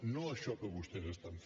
no això que vostès fan